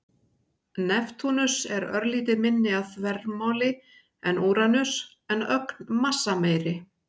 Neptúnus er örlítið minni að þvermáli en Úranus en ögn massameiri.